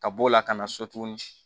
Ka b'o la ka na so tuguni